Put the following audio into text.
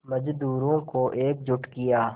मज़दूरों को एकजुट किया